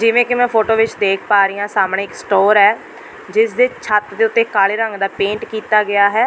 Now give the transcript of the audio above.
ਜਿਵੇਂ ਕਿ ਮੈਂ ਫੋਟੋ ਵਿੱਚ ਦੇਖ ਪਾ ਰਹੀ ਹਾਂ ਸਾਹਮਣੇ ਇੱਕ ਸਟੋਰ ਹੈ ਜਿਸ ਦੇ ਛੱਤ ਦੇ ਉੱਤੇ ਕਾਲੇ ਰੰਗ ਦਾ ਪੇਂਟ ਕੀਤਾ ਗਿਆ ਹੈ।